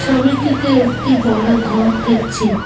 ছবিটিতে একটি বড় ঘর দেখছি।